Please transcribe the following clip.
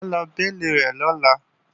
Mà á lọ béèlì rẹ̀ lọ́la